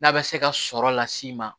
N'a bɛ se ka sɔrɔ las'i ma